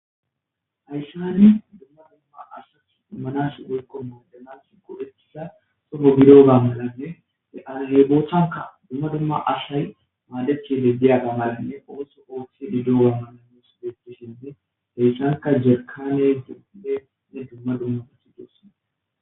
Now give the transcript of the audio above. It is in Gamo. Hayssanni dumma dumma asat dummanas woykko moodanas kodhetisa sofo bidoga melanne de'azebootanka dumma dumma ashay maadechebe diya gamadinne ooso ooththi dido wammananus deettishinde heyssanka jekane duphe ne dumma dumma fethi doosna.